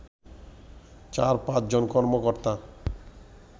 চার-পাঁচ জন কর্মকর্তা